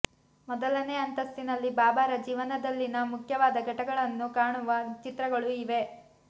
ಮೊದಲನೇ ಅಂತಸ್ತಿನಲ್ಲಿ ಬಾಬಾರ ಜೀವನದಲ್ಲಿನ ಮುಖ್ಯವಾದ ಘಟ್ಟಗಳನ್ನು ಕಾಣುವ ಚಿತ್ರಗಳು ಇವೆ